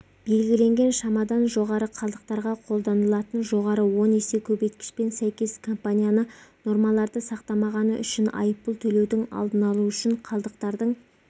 белгіленген шамадан жоғары қалдықтарға қолданылатын жоғары он есе көбейткішпен сәйкес компанияны нормаларды сақтамағаны үшін айыппұл төлеудің алдын алу үшін қалдықтардың